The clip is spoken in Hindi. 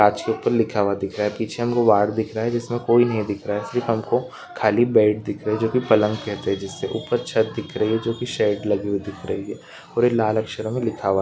कांच के ऊपर लिखा हुआ दिख रहा है पीछे हमको वार्ड दिख रहा है जिसमे कोई नहीं दिख रहा है सिर्फ हमको खाली बेड दिख रहे हैं जो की पलंग कहते हैं जिससे ऊपर छत दिख रही है जो शेड लगी हुई दिख रही है और ये लाल अक्षरों में लिखा हुआ --